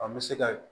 An bɛ se ka